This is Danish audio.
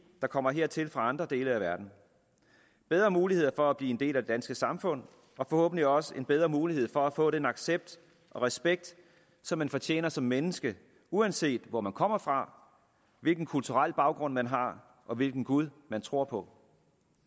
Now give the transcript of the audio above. kommer hertil fra andre dele af verden bedre muligheder for at blive en del af det danske samfund og forhåbentlig også en bedre mulighed for at få den accept og respekt som man fortjener som menneske uanset hvor man kommer fra hvilken kulturel baggrund man har og hvilken gud man tror på